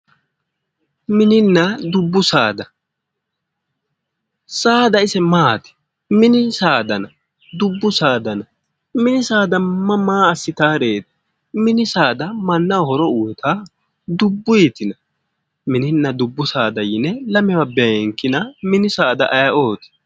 Mininna dubbu saada saada ise maati? Mini saadano dubbu saada no mini saada ise maa assitaworeeti? Mini saada maaanaho horo uyitawo dubuytina? minina dubbu saada yine lamewa beenkina mini saada ayeooti?